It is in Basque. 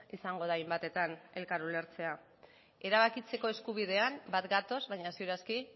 izango da hainbatetan elkar ulertzea erabakitzeko eskubidean bat gatoz baina ziur aski